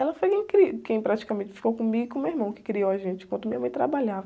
Ela foi quem cri, quem praticamente ficou comigo e com o meu irmão, que criou a gente, enquanto minha mãe trabalhava.